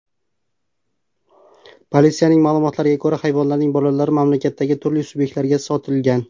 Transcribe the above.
Politsiyaning ma’lumotlariga ko‘ra, hayvonlarning bolalari mamlakatdagi turli subyektlarga sotilgan.